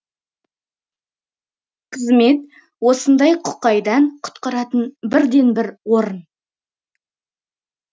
қызмет осындай құқайдан құтқаратын бірден бір орын